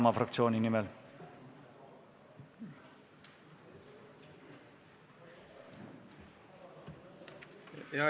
Hea juhataja!